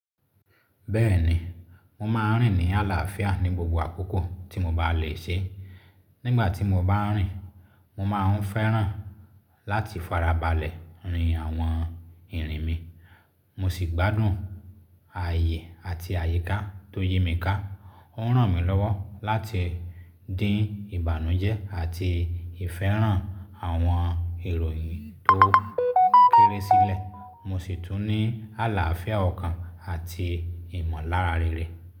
Bẹ́ẹ̀ni, mo máa ń rìn ní àlàáfíà ní gbogbo àkókò tí mo bá lè ṣe. Nígbà tí mo bá ń rìn, mo máa ń fẹ́ràn láti farabalẹ̀ rin àwọn ìrìn mi, mo sì gbádùn ààyè àti àyíká tó yí mi ká. Ó ń ràn mí lọ́wọ́ láti dín ìbànújẹ́ àti ìfẹ́ràn àwọn ìròyìn tó kéré sílẹ̀. Mo sì tún ní àlàáfíà ọkàn àti ìmọ̀lára rere.